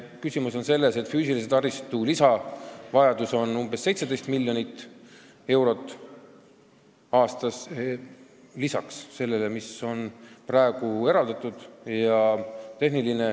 Küsimus on selles, et füüsilise taristu lisavajadus on umbes 17 miljonit eurot aastas lisaks sellele, mis on praegu eraldatud.